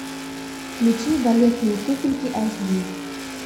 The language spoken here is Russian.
включи балетные туфельки айч ди